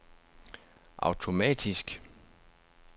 automatisk